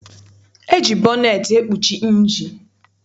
E ji bọneetị ekpuchi injinụ.